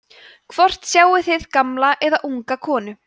hvort sjáið þið gamla eða unga konu